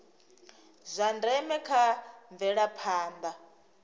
zwa ndeme kha mvelaphanda ya